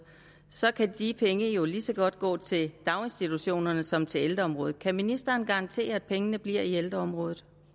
så kan de penge jo lige så godt gå til daginstitutionerne som til ældreområdet kan ministeren garantere at pengene bliver i ældreområdet